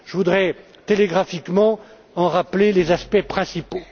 Je voudrais brièvement en rappeler les aspects principaux.